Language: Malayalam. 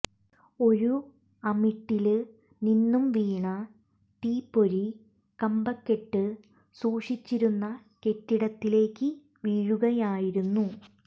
ഒരു അമിട്ടില് നിന്നും വീണ തീപ്പൊരി കമ്പക്കെട്ട് സൂക്ഷിച്ചിരുന്ന കെട്ടിടത്തിലേക്ക് വീഴുകയായിരുന്നു